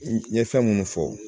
N ye fɛn minnu fɔ